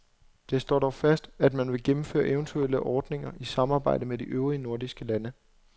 Det står dog fast, at man vil gennemføre eventuelle ordninger i samarbejde med de øvrige nordiske lande.